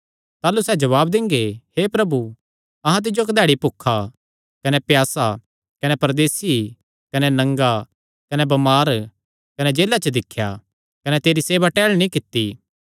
ताह़लू सैह़ जवाब दिंगे हे प्रभु अहां तिज्जो कधैड़ी भुखा कने प्यासा कने परदेसी कने नंगा कने बमार कने जेला च दिख्या कने तेरी सेवा टहल नीं कित्ती